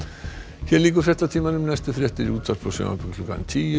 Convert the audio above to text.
hér lýkur fréttatímanum næstu fréttir eru í útvarpi og sjónvarpi klukkan tíu